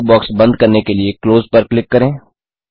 dialogue box बंद करने के लिए क्लोज पर क्लिक करें